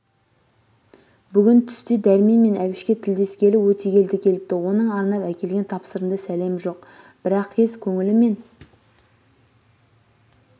бүгін түсте дәрмен мен әбішке тілдескелі өтегелді келіпті оның арнап әкелген тапсырынды сәлемі жоқ бірақез көңілімен